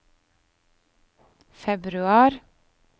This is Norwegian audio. februar